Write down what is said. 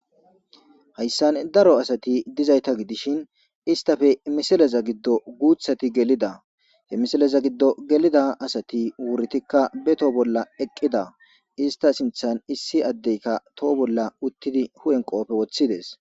Hayssan daro asati dizayta gidishi istape misileza giddo guuththati gelida. Ha misileza giddo gelida asatikka wuritikka be toho bolla eqqida. Ista sinththan issi addeykka toho bolla uttidi huphe bolla qoofe woththides.